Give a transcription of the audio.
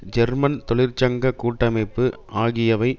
German தொழிற்சங்க கூட்டமைப்பு ஆகியவை